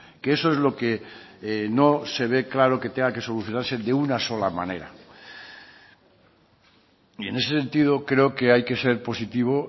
que eso es lo que no se ve claro que tenga que solucionarse de una sola manera y en ese sentido creo que hay que ser positivo